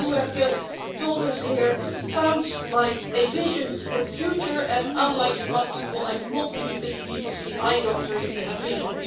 What you have just told us here sounds like a vision for the future, and, unlike some other people, I do not believe that you need to see an eye doctor if you have vision.